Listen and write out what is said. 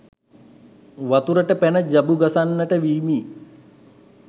වතුරට පැන ජබු ගසන්නට වීමි.